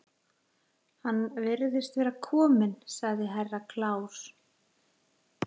Hann virðist vera kominn, sagði Herra Kláus.